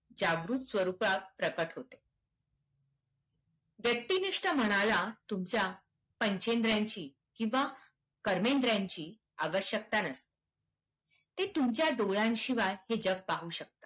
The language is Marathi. जागृक स्वरूपात प्रकट होते. व्यक्तिनिष्ठ मनाला तुमच्या पंचेंद्रियांची किंवा कर्मेद्रियांची आवश्यकता नसते. ते तुमच्या डोळ्यांशिवाय हे जग पाहू शकते.